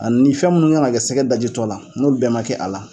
A ni fɛn minnu kan ka kɛ sɛgɛ dajitɔ la n'olu bɛɛ man kɛ a la.